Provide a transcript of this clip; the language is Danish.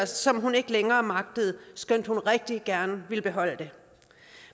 som hun ikke længere magtede skønt hun rigtig gerne ville beholde det